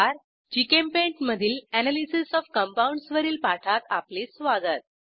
GChemPaint मधील analysis of compounds वरील पाठात आपले स्वागत